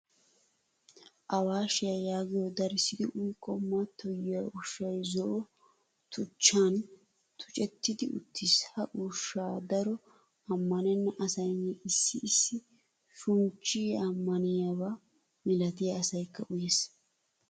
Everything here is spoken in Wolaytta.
Awash yaagiyo darissidi uyikko mattoyiya ushshay zo'o tuchchan tuccettidi uttiis. Ha ushsha daroto ammanena asaynne issi issi shunchchiyaa ammaniyaaba milattiya asaykka uyees.